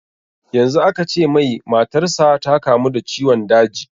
Yanzu aka ce mai matar sa ta kamu da ciwon daji